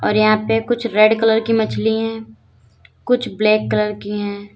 और यहां पे कुछ रेड कलर की मछली हैं कुछ ब्लैक कलर की हैं।